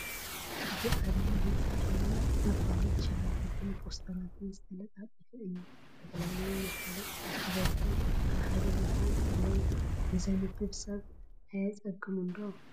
እዚ ዓብዪ ህንፃ ብናይ መፋለጢ ሻራታትን ፖስተራትን ዝተለጣጠፈ እዩ፡፡ ዝተፈላለዩ መፋለጢታት ብብዝሒ ኣብ ሓደ ቦታ እንትህልዉ ንዘንብብ ሰብ ኣየፅግሙን ዶ?